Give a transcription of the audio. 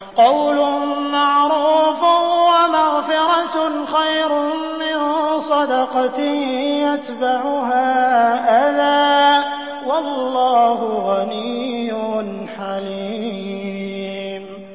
۞ قَوْلٌ مَّعْرُوفٌ وَمَغْفِرَةٌ خَيْرٌ مِّن صَدَقَةٍ يَتْبَعُهَا أَذًى ۗ وَاللَّهُ غَنِيٌّ حَلِيمٌ